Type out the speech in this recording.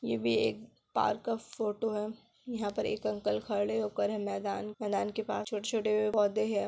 ये भी एक पार्क का फोटो है यहाँ पर एक अंकल खड़े होकर है मैदान मैदान के पास छोटे-छोटे पौधे है।